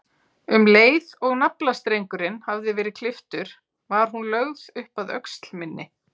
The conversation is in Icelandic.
Um leið og naflastrengurinn hafði verið klipptur var hún lögð upp að öxl minni.